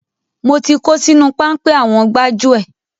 Mo ti kó sínú páńpẹ́ àwọn gbájúẹ̀.